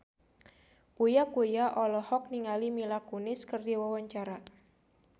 Uya Kuya olohok ningali Mila Kunis keur diwawancara